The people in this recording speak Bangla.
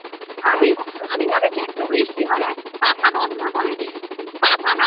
আমি জানিস একটু বৃষ্টি হলে পাখা বন্ধ করে দিই কাঁথা গায়ে